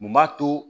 Mun b'a to